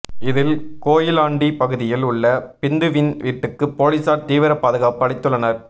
இதில் கோயிலாண்டி பகுதியில் உள்ள பிந்துவின் வீட்டுக்கு போலீஸார் தீவிர பாதுகாப்பு அளித்துள்ளனர்